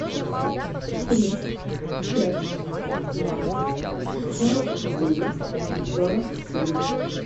три пять два сорок девять сорок семь